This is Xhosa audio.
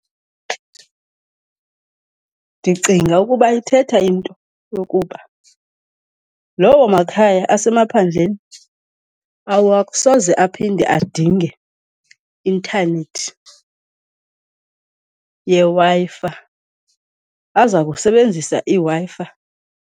Ndicinga ukuba ithetha into yokuba loo makhaya asemaphandleni awasoze aphinde adinge intanethi yeWi-Fi, aza kusebenzisa iWi-Fi.